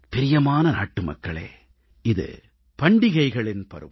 பிரியமான நாட்டுமக்களே இது பண்டிகளைகளின் பருவம்